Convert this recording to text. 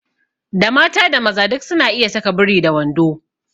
Da mata da maza duk su na iya saka biri da wando